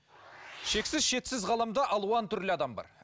шексіз шетсіз ғаламда алуан түрлі адам бар